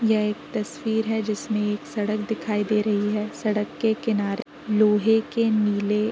यह एक तस्वीर है जिसमें एक सड़क दिखाई दे रही है सड़क के किनारे लोहे के नीले --